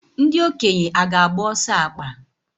Ndị okenye aga-agba ọsọ akpa?